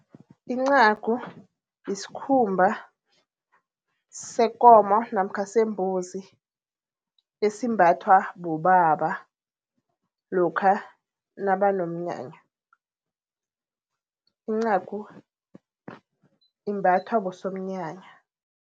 Incagu yiskhumba sekomo namkha sembuzi, esimbathwa bobaba lokha nabanomnyanya. Incagu imbathwa bosomnyanya.